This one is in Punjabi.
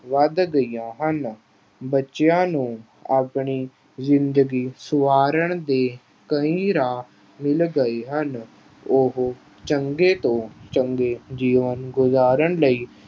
ਵਧ ਗਈਆਂ ਹਨ। ਬੱਚਿਆਂ ਨੂੰ ਆਪਣੀ ਜ਼ਿੰਦਗੀ ਸੁਆਰਨ ਦੇ ਕਈ ਰਾਹ ਮਿਲ ਗਏ ਹਨ। ਉਹ ਚੰਗੇ ਤੋਂ ਚੰਗੇ ਜੀਵਨ ਗੁਜ਼ਾਰਨ ਲਈ